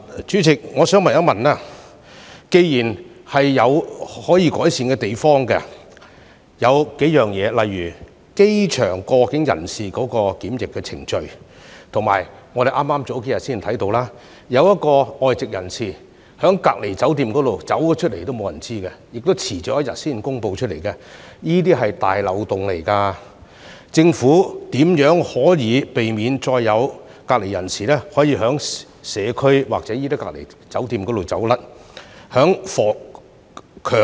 主席，我想問，既然有多處可以改善的地方，例如機場過境人士的檢疫程序，以及我們數天前看到一名外籍人士離開了隔離酒店也沒有人知悉，當局更遲了一天才公布，這可是個大漏洞，政府如何避免再有隔離人士逃離隔離酒店，進入社區？